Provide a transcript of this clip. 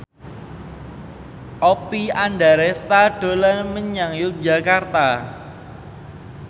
Oppie Andaresta dolan menyang Yogyakarta